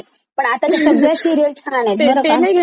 नाही घ्यायला पहिजे लोकांनी ते दोन दोन लग्न करायचे.